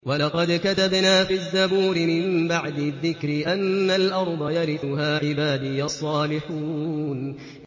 وَلَقَدْ كَتَبْنَا فِي الزَّبُورِ مِن بَعْدِ الذِّكْرِ أَنَّ الْأَرْضَ يَرِثُهَا عِبَادِيَ الصَّالِحُونَ